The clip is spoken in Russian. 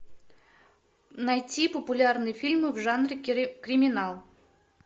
найти популярные фильмы в жанре криминал